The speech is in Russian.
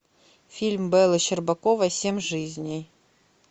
фильм беллы щербаковой семь жизней